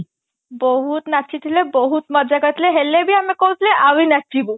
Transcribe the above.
ବହୁତ ନାଚିଥିଲେ ବହୁତ ମଜା କରିଥିଲେ ହେଲେ ବି ଆମେ କହୁଥିଲେ ଆହୁରି ନାଚିବୁ